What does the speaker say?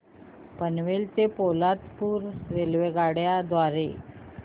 पनवेल ते पोलादपूर रेल्वेगाडी द्वारे